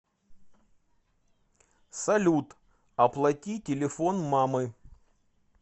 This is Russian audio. салют оплати телефон мамы